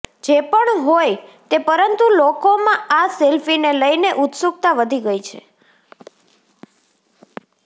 જે પણ હોઈ તે પરંતુ લોકોમાં આ સેલ્ફીને લઈને ઉત્સુકતા વધી ગઈ છે